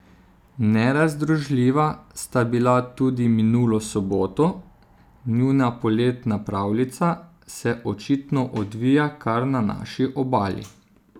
Nerazdružljiva sta bila tudi minulo soboto, njuna poletna pravljica se očitno odvija kar na naši Obali.